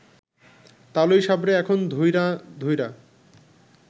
তালই সাবরে এখন ধইরা ধইরা